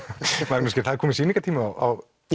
Magnús það er kominn sýningartími á